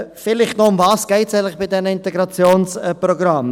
Vielleicht noch: Worum geht es eigentlich bei diesen Integrationsprogrammen?